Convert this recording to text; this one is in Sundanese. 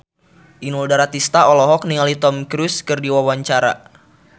Inul Daratista olohok ningali Tom Cruise keur diwawancara